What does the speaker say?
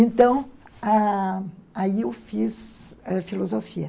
Então, ãh, aí eu fiz filosofia.